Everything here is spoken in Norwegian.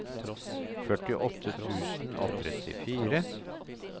førtiåtte tusen og trettifire